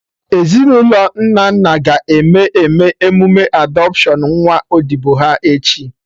Ezinụlọ Nnanna ga-eme eme emụme adọpshion nwa odibo ha, echi